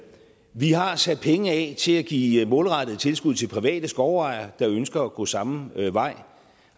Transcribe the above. vi har sat penge af til at give målrettede tilskud til private skovejere der ønsker at gå samme vej